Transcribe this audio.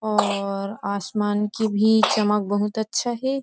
और आसमान की भी चमक बहुत अच्छा है।